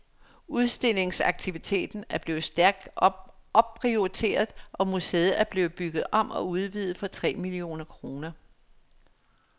Udstillingsaktiviteten er blevet stærkt opprioriteret, og museet er blevet bygget om og udvidet for tre millioner kroner.